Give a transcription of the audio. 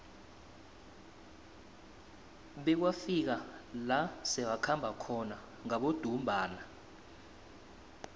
bekwafika la sebakhamba khona ngabodumbana